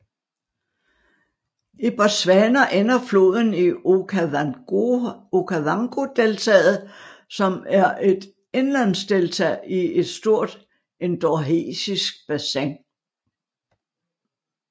I Botswana ender floden i Okavangodeltaet som er et indlandsdelta i et stort endorheisk bassin